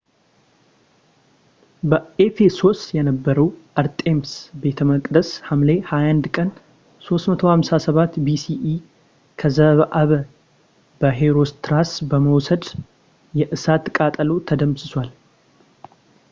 በኤፈሶስ የነበረው የአርጤምስ ቤተ መቅደስ ሐምሌ 21 ቀን 356 bce ከዘአበ በሄሮስትራስ በወሰደው የእሳት ቃጠሎ ተደምስሷል